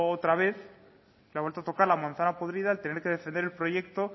otra vez le ha vuelto a tocar la manzana podrida al tener que defender el proyecto